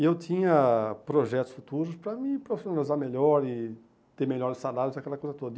E eu tinha projetos futuros para me profissionalizar melhor e ter melhores salários, aquela coisa toda.